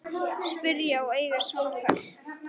Spyrja og eiga samtal.